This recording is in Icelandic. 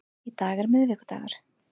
Í dag er miðvikudagur.